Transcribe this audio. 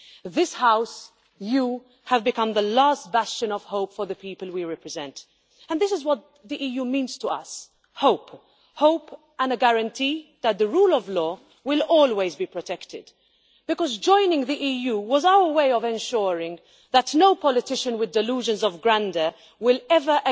To this House I would say you have become the last bastion of hope for the people we represent, and this is what the EU means to us hope, and a guarantee that the rule of law will always be protected, because joining the EU was our way of ensuring that no politician with delusions of grandeur would ever